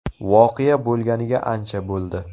Voqea bo‘lganiga ancha bo‘ldi.